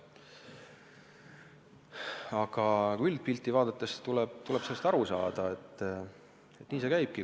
Aga üldpilti vaadates tuleb aru saada, et nii see käibki.